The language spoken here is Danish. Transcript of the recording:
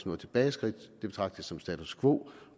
noget tilbageskridt det betragter jeg som status quo